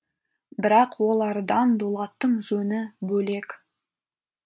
бірақ олардан дулаттың жөні бөлек